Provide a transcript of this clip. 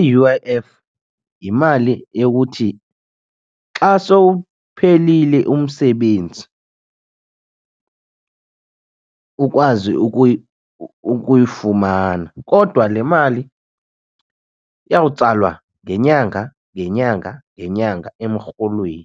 I-U_I_F yimali yokuthi xa sowuphelile umsebenzi ukwazi ukuyifumana. Kodwa le mali iyawutsalwa ngenyanga ngenyanga ngenyanga emrholweni